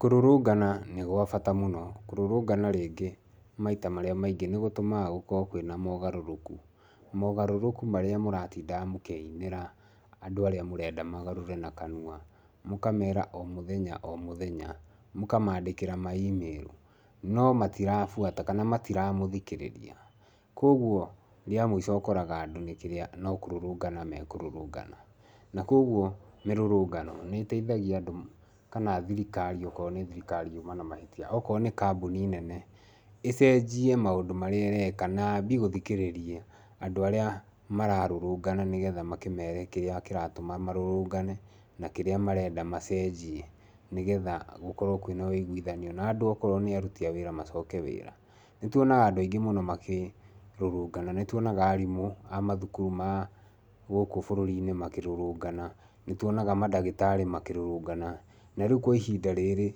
Kũrũrũngana nĩ gwa bata mũno. Kũrũrũngana rĩngĩ maita marĩa maingĩ nĩ gũtũmaga gũkorwo kwĩna mogarũrũku. Mogarũrũku marĩa mũratindaga mũkĩinĩra andũ arĩa mũrenda magarũre na kanua. Mũkamera o mũthenya o mũthenya, mũkamaandĩkĩra ma email no matirabuata kana matiramũthikĩrĩria. Koguo rĩa mũico ũkoraga andũ nĩ kĩrĩa no kũrũrũngana mekũrũrũngana. Na koguo mĩrũrũngano nĩ ĩteithagia andũ kana thirikari okorwo nĩ thirikari yuma na mahĩtia, okorwo nĩ kambuni nene ĩcenjie maũndũ marĩa ĩreka na yambie gũthikĩrĩria andũ arĩa mararũrũngana nĩgetha makĩmere kĩrĩa kĩratũma marũrũngane, na kĩrĩa marenda macenjie, nĩgethagĩ gũkorwo kwĩna ũiguano. Na andũ okorwo nĩ aruti a wĩra macoke wĩra. Nĩ tuonaga andũ aingĩ mũno makĩrũrũngana, nĩ tuonaga arimũ a mathukuru ma gũkũ bũrũri-inĩ makĩrũrũngana, nĩ tuonaga mandagĩtarĩ makĩrũrũngana. Na rĩu kwa ihinda rĩrĩ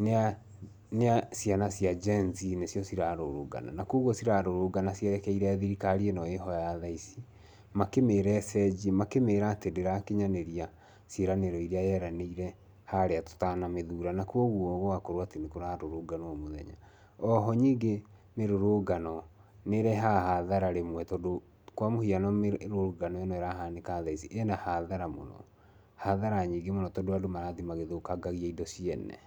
nĩ a ciana cia Gen-Z nĩcio cirarũrũngana. Ũguo cirarũrũngana cierekeire thirikari ĩno ĩho ya tha ici makĩmera ĩcenjie, makĩmĩĩra atĩ ndĩrakinyanĩria ciĩranĩro irĩa yeranĩire harĩa tũtanamĩthura. Na koguo gũgakorwo atĩ nĩ kũrarũrũnganwo o mũthenya. Oho nyingĩ mĩrũrũngano nĩ ĩrehaga hathara rĩmwe tondũ kwa mũhiano mĩrũrũngano ĩno ĩrahanĩka thaa ici ĩna hathara mũno, hathara nyingĩ mũno tondũ andũ marathiĩ magĩthũkangagia indo ciene.